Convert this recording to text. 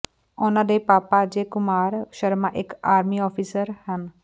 ਉਨ੍ਹਾਂ ਦੇ ਪਾਪਾ ਅਜੇ ਕੁਮਾਰ ਸ਼ਰਮਾ ਇੱਕ ਆਰਮੀ ਅਫਸਰ ਹਨ